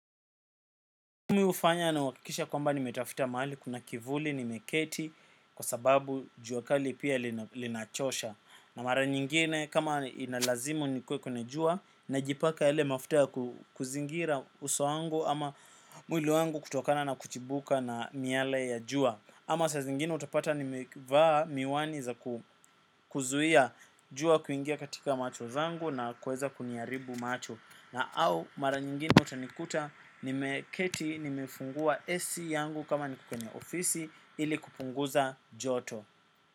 Mimi hufanya na kuhakikisha kwamba nimetafuta mahali kuna kivuli, nimeketi kwa sababu jua kali pia linachosha. Na mara nyingine, kama inalazimu niwe kwenye jua, najipaka mafuta kuzingira uso wangu ama mwili wangu kutokana na kuchubuka na miale ya jua. Ama saa zingine utapata nimevaa miwani za kuzuia jua kuingia katika macho zangu na kuweza kuniharibu macho. Au mara nyingine utanikuta nimekaa nimefungua AC yangu kama niko kwenye ofisi ili kupunguza joto.